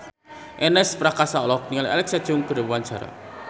Ernest Prakasa olohok ningali Alexa Chung keur diwawancara